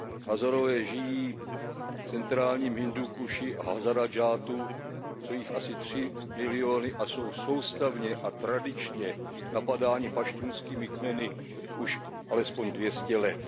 Hazárové žijí v centrálním Hindúkuši Hazaradžátu. Jsou jich asi tři miliony a jsou soustavně a tradičně napadáni paštunskými kmeny už alespoň dvě stě let.